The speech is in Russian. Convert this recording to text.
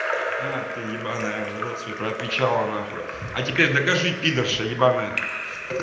а ты ебаная рот свой про отвечала на хуй а теперь докажи пидорша ебаная